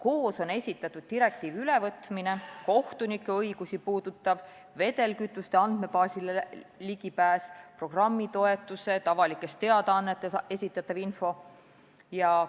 Koos on esitatud direktiivi ülevõtmine, kohtunike õiguste muutmine, vedelkütuse andmebaasile ligipääs, programmitoetused, avalikes teadaannetes esitatava info muutmine.